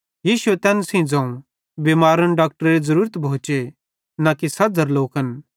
यीशुए तैन सेइं ज़ोवं बिमारन डाक्टरेरी ज़रूरत भोचे पन सझ़रे ज़रूरत न भोए